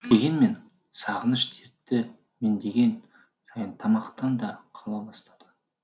дегенмен сағыныш дерті меңдеген сайын тамақтан да қала бастадым